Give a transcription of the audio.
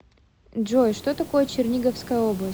джой что такое черниговская область